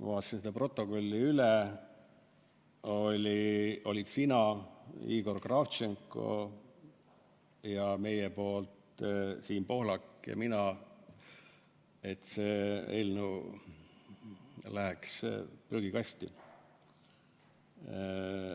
ma vaatasin protokolli üle: sina, Igor Kravtšenko ja meie esindajatena Siim Pohlak ja mina olime selle poolt, et see eelnõu läheks prügikasti.